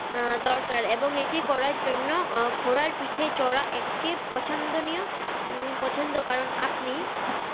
আহ দরকার এবং এটি করার জন্য ঘোড়ার পিঠে চড়া একটি পছন্দনীয় উম পছন্দ কারণ আপনি